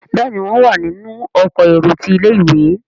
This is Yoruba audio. Béèni wón wá nínú Ọkọ̀ èrò tí ilé-ìwé.